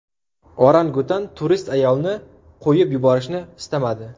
Orangutan turist ayolni qo‘yib yuborishni istamadi .